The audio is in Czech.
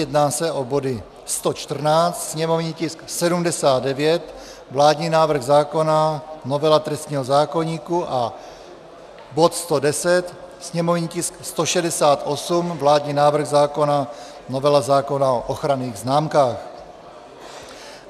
Jedná se o body 114, sněmovní tisk 79, vládní návrh zákona, novela trestního zákoníku, a bod 110, sněmovní tisk 168, vládní návrh zákona, novela zákona o ochranných známkách.